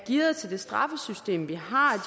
gearet til det straffesystem vi har